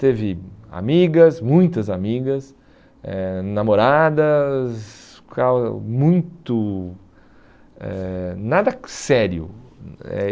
Teve amigas, muitas amigas, eh namoradas, muito... Eh nada sério. Eh